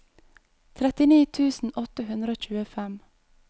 trettini tusen åtte hundre og tjuefem